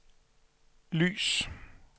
lys